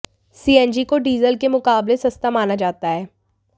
CNG को diesel के मुकाबले सस्ता माना जाता है